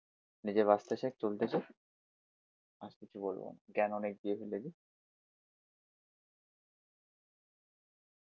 নিজে বাঁচতে শেখ, চলতে শেখ আর কিছু বলবো না, জ্ঞান অনেক দিয়ে ফেলেছি।